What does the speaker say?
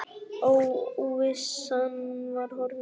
Óvissan var horfin.